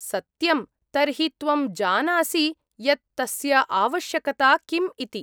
सत्यम्, तर्हि त्वं जानासि यत् तस्य आवश्यकता किम् इति।